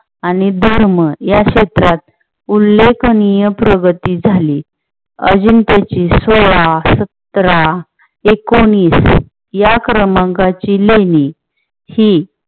आणि धर्म या क्षेत्रात उल्लेखनीय प्रगती झाली. अजून त्याची सोळा, सातारा, एकोणवीस या क्रमांकाची ही